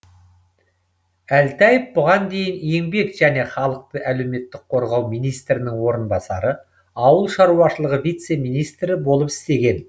әлтаев бұған дейін еңбек және халықты әлеуметтік қорғау министрінің орынбасары ауыл шаруашылығы вице министрі болып істеген